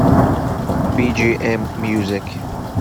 би джи эм мьюзик